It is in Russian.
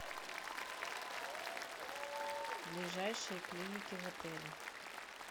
ближайшие клиники в отеле